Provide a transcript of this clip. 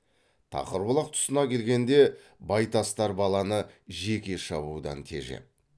тақырбұлақ тұсына келгенде байтастар баланы жеке шабудан тежеп